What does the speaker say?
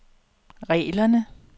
reglerne